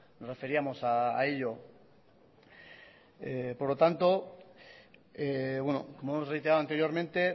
nos referíamos a ello por lo tanto bueno como hemos reiterado anteriormente